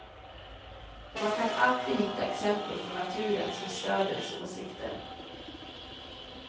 Man kan alltid hitta exempel från naturen som stöder ens åsikter.